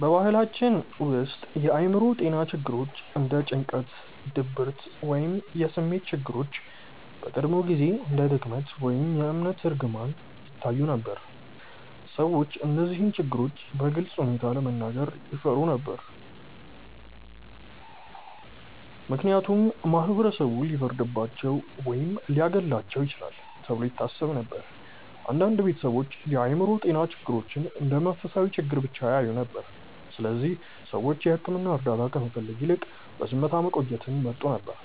በባህላችን ውስጥ የአእምሮ ጤና ችግሮች እንደ ጭንቀት፣ ድብርት ወይም የስሜት ችግሮች በቀድሞ ጊዜ እንደ ድክመት ወይም የእምነት እርግማን ይታዩ ነበር። ሰዎች እነዚህን ችግሮች በግልፅ ሁኔታ ለመናገር ይፈሩ ነበር፣ ምክንያቱም ማህበረሰቡ ሊፈርድባቸው ወይም ሊያገለልባቸው ይችላል ተብሎ ይታሰብ ነበር። አንዳንድ ቤተሰቦችም የአእምሮ ጤና ችግሮችን እንደ መንፈሳዊ ችግር ብቻ ያዩ ነበር፣ ስለዚህ ሰዎች የሕክምና እርዳታ ከመፈለግ ይልቅ በዝምታ መቆየትን ይመርጡ ነበር።